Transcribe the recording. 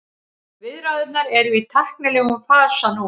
Viðræðurnar eru í tæknilegum fasa núna